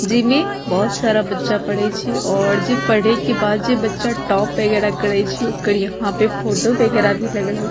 जे में बहुत सारा बच्चा पढ़े छै और जे पढ़े के बाद जे बच्चा टॉप वैगरह करे छै ओकर यहाँ पे फोटो वैगरह भी लगल हई।